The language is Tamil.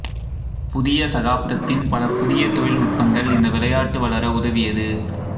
புதிய சகாப்தத்தின் பல புதிய தொழில்நுட்பங்கள் இந்த விளையாட்டு வளர உதவியது